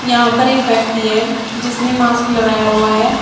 यहां पर एक व्यक्ति है जिसने मास्क लगाया हुआ है।